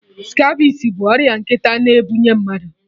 Scabies bụ ọrịa nkịta na-ebunye mmadụ